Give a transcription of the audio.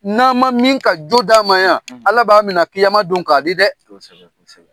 N'a ma min ka jo d'a ma yan, ala b'an minɛ don k'a di dɛ, kosɛbɛ, kosɛbɛ.